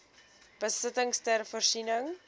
besittings ter voorsiening